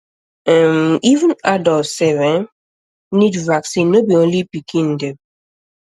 um ehm even adult sef um need vaccine no be only pikin um dem